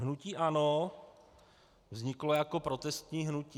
Hnutí ANO vzniklo jako protestní hnutí.